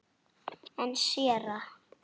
En séra